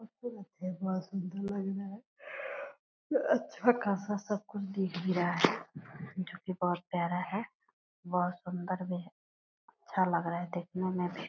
अच्छा खासा सब कुछ दिख भी रहा है जो की बहुत प्यारा है बहुत सूंदर भी है अच्छा लग रहा है देखने में भी।